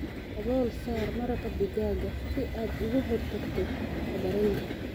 Dabool saar maraq digaaga si aad uga hortagto faddaraynta.